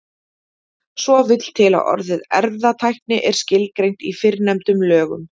svo vill til að orðið erfðatækni er skilgreint í fyrrnefndum lögum